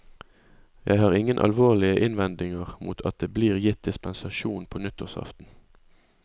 Jeg har ingen alvorlige innvendinger mot at det blir gitt dispensasjon på nyttårsaften.